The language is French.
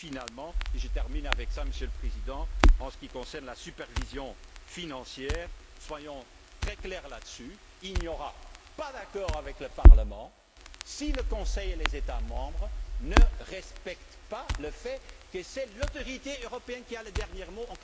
Puis finalement et je terminerai par là, Monsieur le Président en ce qui concerne la supervision financière, soyons très clairs sur ce point il n'y aura pas d'accord avec le Parlement si le Conseil et les États membres ne respectent pas le fait qu'en cas de conflit, c'est l'autorité européenne qui a le dernier mot.